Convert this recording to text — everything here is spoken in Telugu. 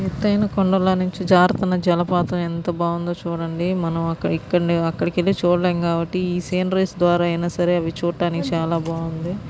ఎత్తైన కొండల నుంచి జారుతున్న జలపాతం ఎంత బాగుందో చుడండి. మనం ఇక్కడికి వెళ్లి చూడలేం కాబ్బటి ఈ సేంద్రీస్ ద్వారా ఐన చూడడానికి చాలా బాగుంది.